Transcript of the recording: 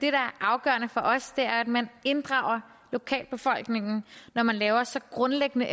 er afgørende for os er at man inddrager lokalbefolkningen når man laver så grundlæggende